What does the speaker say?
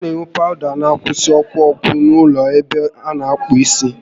A na enwe pawụda n'akwụsi ọkụ ọkụ n'ụlọ ebe a na akpụ isi